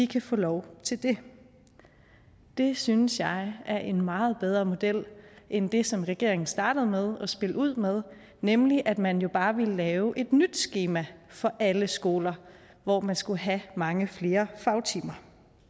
kan få lov til det det synes jeg er en meget bedre model end det som regeringen startede med at spille ud med nemlig at man jo bare ville lave et nyt skema for alle skoler hvor man skulle have mange flere fagtimer